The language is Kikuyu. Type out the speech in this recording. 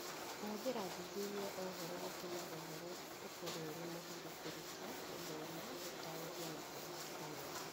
Kũhũthĩra athuthuria a ũhoro gũtũmaga ũhoro ũkorũo ũrĩ mũhũthũ kũruta, gũthoma, gũtaarĩria, na kũringithania.